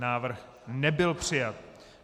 Návrh nebyl přijat.